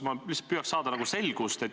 Ma lihtsalt püüan saada selgust.